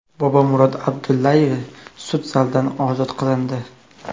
Bobomurod Abdullayev sud zalidan ozod qilindi.